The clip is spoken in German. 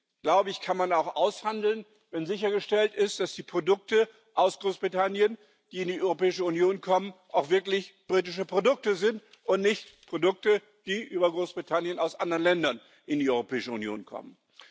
Das kann man auch aushandeln, wenn sichergestellt ist, dass die Produkte aus Großbritannien, die in die Europäische Union kommen, auch wirklich britische Produkte sind und nicht Produkte, die über Großbritannien aus anderen Ländern in die Europäische Union kommen.